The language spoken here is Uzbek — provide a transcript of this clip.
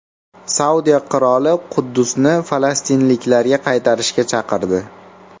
Saudiya qiroli Quddusni falastinliklarga qaytarishga chaqirdi.